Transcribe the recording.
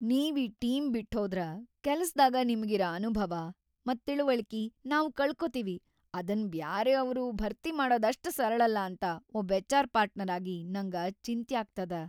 ನೀವ್‌ ಈ ಟೀಮ್ ಬಿಟ್ಹೋದ್ರ ಕೆಲ್ಸದಾಗ ನಿಮಗಿರ ಅನುಭವ ಮತ್‌ ತಿಳವಳ್ಕಿ ನಾವ್‌ ಕಳಕೋತೀವಿ ಅದನ್‌ ಬ್ಯಾರೆಯವ್ರು ಭರ್ತಿ ಮಾಡದ್‌ ಅಷ್ಟ್‌ ಸರಳಲ್ಲ ಅಂತ ಒಬ್‌ ಎಚ್.‌ಆರ್.‌ ಪಾರ್ಟ್ನರ್‌ ಆಗಿ ನಂಗ ಚಿಂತ್ಯಾಗ್ತದ.